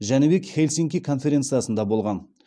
жәнібек хельсинки конференциясында болған